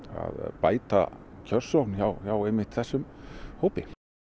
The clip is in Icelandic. bæta kjörsókn hjá einmitt þessum hópi